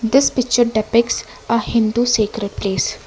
this picture depicts a hindu sacred place.